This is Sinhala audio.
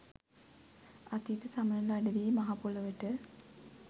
අතීත සමනල අඩවියේ මහපොළොවට